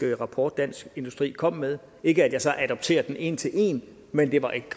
rapport dansk industri kom med ikke at jeg så adopterer den en til en men det var et